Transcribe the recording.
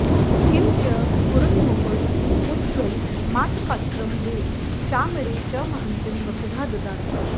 किं च स्फुरन्मुकुटमुज्ज्वलमातपत्रं द्वे चामरे च महतीं वसुधां ददाति